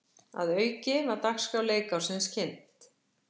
Að auki var dagskrá leikársins kynnt